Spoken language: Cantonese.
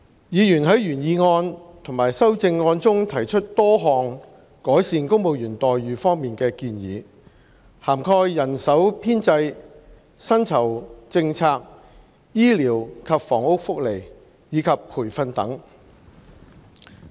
議員在原議案和修正案中提出多項改善公務員待遇方面的建議，涵蓋人手編制、薪酬政策、醫療及房屋福利，以及培訓等。